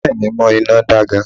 Ìyá à mi mo iná da gan